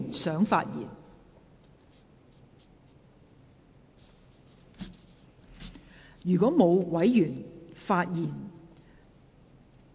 是否有委員想發言？